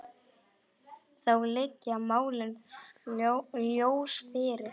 Þá liggja málin ljóst fyrir.